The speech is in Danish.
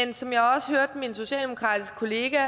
det som jeg også hørte min socialdemokratiske kollega